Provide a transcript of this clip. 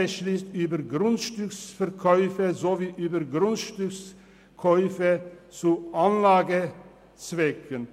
] beschliesst über Grundstücksverkäufe sowie über Grundstückskäufe zu Anlagezwecken.